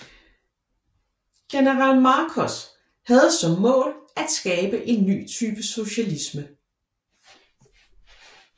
General Markos havde som mål at skabe en ny type socialisme